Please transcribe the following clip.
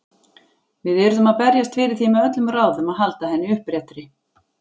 Við yrðum að berjast fyrir því með öllum ráðum að halda henni uppréttri.